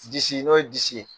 Disi n'o ye disi ye.